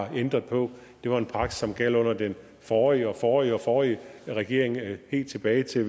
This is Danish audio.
har ændret på det var en praksis som gjaldt under den forrige og forrige og forrige regering helt tilbage til